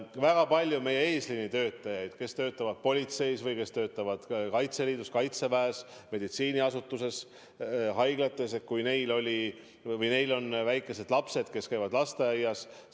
Väga paljud meie eesliinitöötajaid, kes töötavad politseis või kes töötavad Kaitseliidus, Kaitseväes, haiglates ja muudes meditsiiniasutuses – ka neil on väikesed lapsed, kes käivad lasteaias.